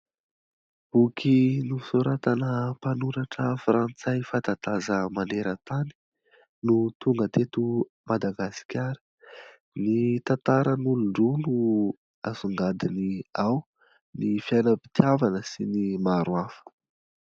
Boky nosoratana mpanoratra frantsay fatataza maneran -tany , no tonga teto madagasikara. Ny tantaran'olondroa no asongadiny ao ny fiainam-pitiavana sy ny maro hafa .